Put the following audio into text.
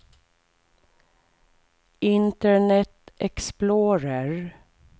internet explorer